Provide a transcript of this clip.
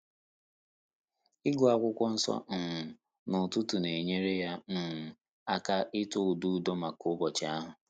Ị́gụ́ Ákwụ́kwọ́ Nsọ́ um n’ụ́tụ́tụ̀ nà-ényéré yá um áká ị́tọ́ ụ́dà údo màkà ụ́bọ́chị̀ áhụ́.